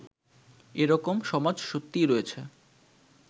এ-রকম সমাজ সত্যিই রয়েছে